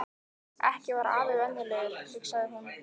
Ekki var afi venjulegur, hugsaði hún.